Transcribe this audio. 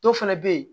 Dɔw fɛnɛ be ye